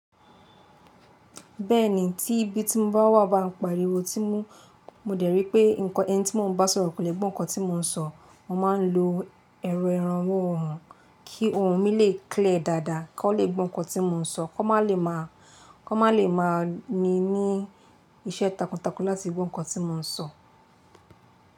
Bẹ́ẹ̀ni, tí ibi tí mò ń bá wà bá ń pariwo tí mú, mo dẹ̀ ríi pé nǹkan ẹni tí mò ń bá sọ̀rọ̀ kò lè gbọ́ nǹkan tí mò ń sọ, mo máa ń lo ẹ̀rọ ìrànwọ́ ohùn kí ohùn mi lè clear dáadáa kí wọ́n ó lè gbọ́ nǹkan tí mò ń sọ kó má lè máa, kó má lè máa mi ní iṣẹ́ takuntakun láti gbọ́ nǹkan tí mò ń sọ.